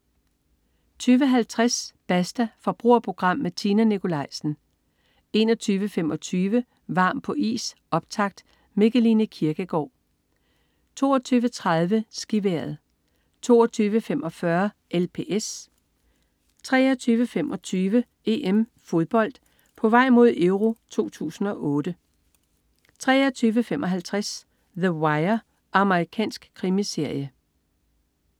20.50 Basta. Forbrugerprogram med Tina Nikolaisen 21.25 Varm på is, optakt. Mikkeline Kirkegaard 22.30 SkiVejret 22.45 LPS 23.25 EM-Fodbold: På vej mod EURO 2008 23.55 The Wire. Amerikansk krimiserie